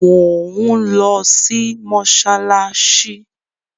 Mò ń lọ mọ́ṣáláṣí.